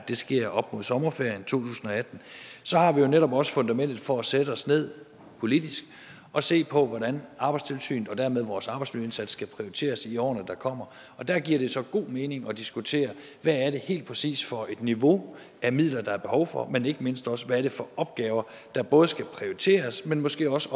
sker op mod sommerferien to tusind og atten har vi jo netop også fundamentet for at sætte os ned og politisk se på hvordan arbejdstilsynet og dermed vores arbejdsmiljøindsats skal prioriteres i årene der kommer og der giver det så god mening at diskutere hvad det helt præcis er for et niveau af midler der er behov for men ikke mindst også hvad det er for opgaver der både skal prioriteres men måske også